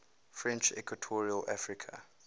french equatorial africa